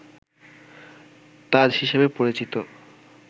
তাজ হিসেবে পরিচিত